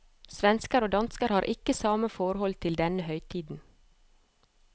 Svensker og dansker har ikke samme forhold til denne høytiden.